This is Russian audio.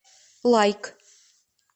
лайк